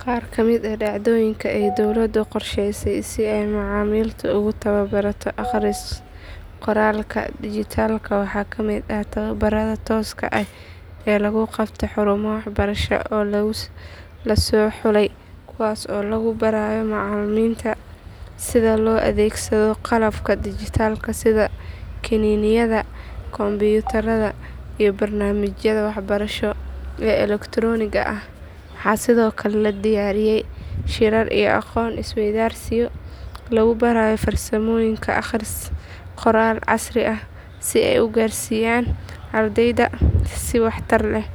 Qaar ka mid ah dhacdooyinka ay dawladdu u qorshaysay si ay macalimiinta ugu tababarto akhris qoraalka dhijitaalka waxaa ka mid ah tababbarrada tooska ah ee lagu qabto xarumo waxbarasho oo la soo xulay kuwaas oo lagu barayo macalimiinta sida loo adeegsado qalabka dhijitaalka sida kiniiniyada, kombiyuutarada iyo barnaamijyada waxbarasho ee elektarooniga ah. Waxaa sidoo kale la diyaariyay shirar iyo aqoon isweydaarsiyo lagu barayo farsamooyinka akhris qoraal casri ah si ay u gaarsiiyaan ardayda si waxtar leh.